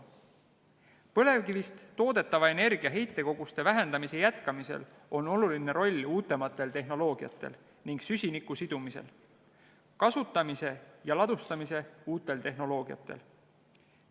Põlevkivist toodetava energia heitekoguste vähendamise jätkamisel on oluline roll uuematel tehnoloogiatel ning süsiniku sidumise, kasutamise ja ladustamise uutel tehnoloogiatel.